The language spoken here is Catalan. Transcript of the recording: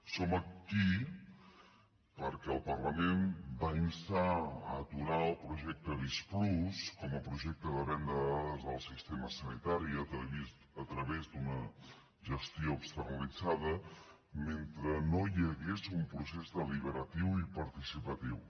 som aquí perquè el parlament va instar a aturar el projecte visc+ com a projecte de venda de dades del sistema sanitari a través d’una gestió externalitzada mentre no hi hagués un procés deliberatiu i participatiu